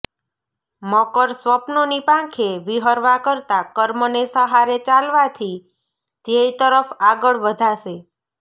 મકરઃ સ્વપ્નોની પાંખે વિહરવા કરતાં કર્મને સહારે ચાલવાથી ધ્યેય તરફ આગળ વધાશે